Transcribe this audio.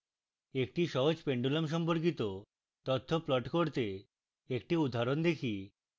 একটি সহজ pendulum সম্পর্কিত তথ্য প্লট করতে একটি উদাহরণ দেখি